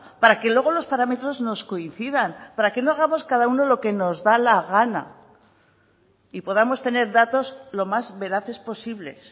para que luego los parámetros nos coincidan para que no hagamos cada uno lo que nos da la gana y podamos tener datos lo más veraces posibles